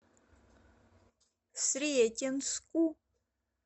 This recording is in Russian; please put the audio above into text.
сретенску